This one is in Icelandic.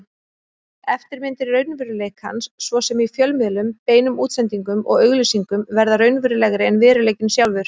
Eftirmyndir raunveruleikans, svo sem í fjölmiðlum, beinum útsendingum og auglýsingum, verða raunverulegri en veruleikinn sjálfur.